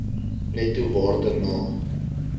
netto waarde na